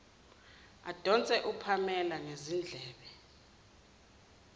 adonse upamela ngezindlebe